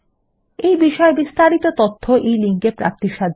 এই বিষয় বিস্তারিত তথ্য এই লিঙ্ক এ প্রাপ্তিসাধ্য